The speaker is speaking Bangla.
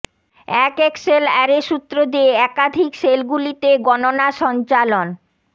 এক এক্সেল অ্যারে সূত্র দিয়ে একাধিক সেলগুলিতে গণনা সঞ্চালন